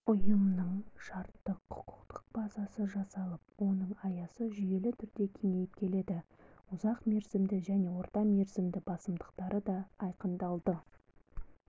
ұйымның шарттық-құқықтық базасы жасалып оның аясы жүйелі түрде кеңейіп келеді ұзақмерзімді және ортамерзімді басымдықтары да айқындалды